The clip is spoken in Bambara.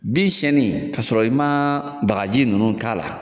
Bin siyɛnni ka sɔrɔ i ma bagaji ninnu k'a la